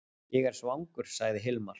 Ég er svangur, sagði Hilmar.